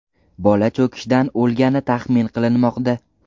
Bola cho‘kishdan o‘lgani taxmin qilinmoqda.